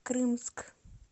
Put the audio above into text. крымск